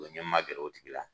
n ye ma gɛrɛ o tigi la.